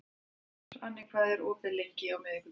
Svani, hvað er opið lengi á miðvikudaginn?